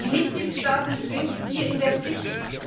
Die Mitgliedstaaten sind hier in der Pflicht.